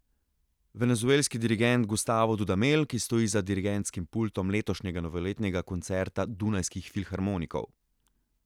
Venezuelski dirigent Gustavo Dudamel, ki stoji za dirigentskim pultom letošnjega novoletnega koncerta Dunajskih filharmonikov.